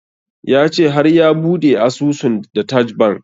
Ya ce har ya bude asusun da taj bank